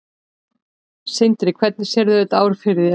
Sindri: Og hvernig sérðu þetta ár fyrir þér?